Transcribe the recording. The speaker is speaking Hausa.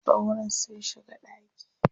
Sauron sun shiga ɗaki.